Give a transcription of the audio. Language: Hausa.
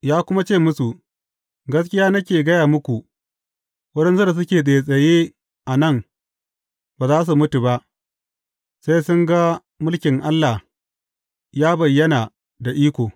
Ya kuma ce musu, Gaskiya nake gaya muku, waɗansu da suke tsattsaye a nan ba za su mutu ba, sai sun ga mulkin Allah ya bayyana da iko.